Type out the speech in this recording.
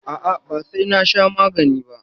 A'a, ba sai na sha magani ba.